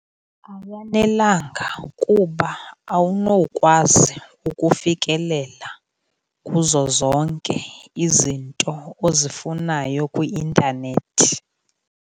Awanelanga kuba awunokwazi ukufikelela kuzo zonke izinto ozifunayo kwi-intanethi.